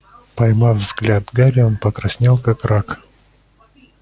поймав взгляд гарри он покраснел как рак